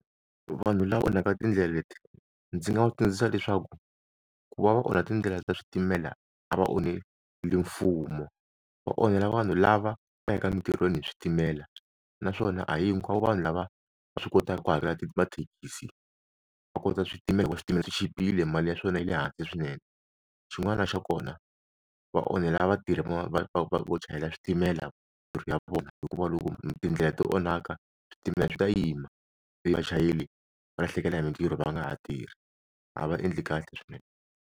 Vanhu lava onhaka tindlela leti ndzi nga va tsundzuxa leswaku ku va va onha tindlela ta switimela a va onheli mfumo va onhela vanhu lava va yaka emintirhweni hi switimela naswona a hi hikwavo vanhu lava va swi kotaka ku hakela mathekisi va kota switimela hikuva switimela swi chipile mali ya swona yi le hansi swinene xin'wana xa kona va onhela vatirhi va va va vo chayela switimela mintirho ya vona hikuva loko tindlela ti onhaka switimela swi ta yima vachayeri va lahlekela hi mintirho va nga ha tirhi a va endli kahle swinene.